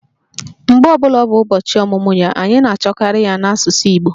Mgbe ọ bụla ọ bụ ụbọchị ọmụmụ ya, anyị na-achọkarị ya n'asụsụ Igbo